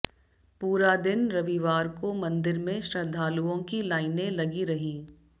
पूरा दिन रविवार को मंदिर में श्रद्धालुओं की लाइनें लगी रहीं